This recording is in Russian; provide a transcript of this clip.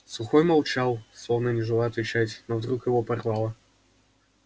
сухой молчал словно не желая отвечать но вдруг его прорвало